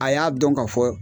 A y'a dɔn ga fɔ